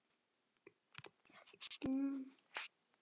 Síðan þá er liðið ár.